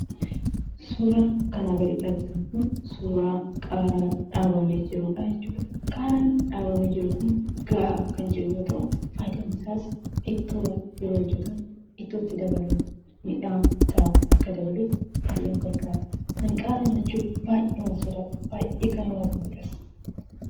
Suuraan kanaa gaditti argitan Kun, suuraa qaaraa dhaabamee jirudha jechuudha. Qaaraan dhaabamee Kun gahaa kan jiru yoo ta'u; faayidaan isaas ittoon yeroo hojjettamu ittootti dabaluuf mi'aahan isa Akka dabaluuf baay'ee nu gargaara. An qaara nyaachuu baay'eeman sodaadha. Baay'ee kan nama gubudhas.